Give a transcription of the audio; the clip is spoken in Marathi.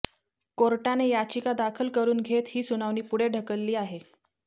कोर्टाने याचिका दाखल करून घेत ही सुनावणी पुढे ढकलली आहे